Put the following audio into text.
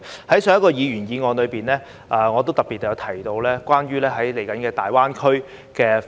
在上一項議員議案中，我也特別提到有關大灣區未來的發展。